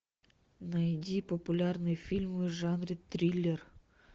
найди популярные фильмы в жанре триллер